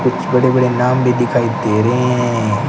कुछ बड़े बड़े नाम भी दिखाई दे रहे हैं।